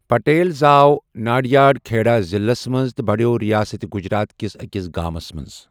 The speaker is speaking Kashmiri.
پٹیل زٲو ناڈیاڈ، کھیڑا ضِلعس منٛز، تہٕ بَڑیو ریاست گجرات کِس ٲکِس گامَس منٛز۔